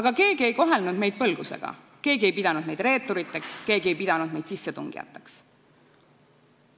aga keegi ei kohelnud meid põlgusega, keegi ei pidanud meid reeturiteks, keegi ei pidanud meid sissetungijateks.